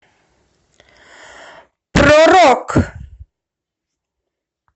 про рок